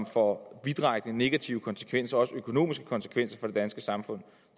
får vidtrækkende negative konsekvenser også økonomiske konsekvenser for det danske samfund